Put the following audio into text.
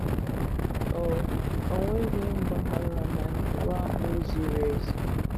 O O nweghi mgbághá na iwu ahụ ziri ezi..